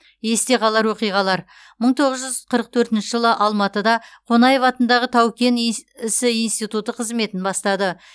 есте қалар оқиғалар мың тоғыз жүз қырық төртінші жылы алматыда онаев атындағы тау кен ісі институты қызметін бастады